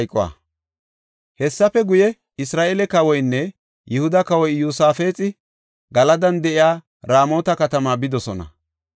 Hessafe guye, Isra7eele kawoynne Yihuda kawoy Iyosaafexi Galadan de7iya Raamota katamaa bidosona.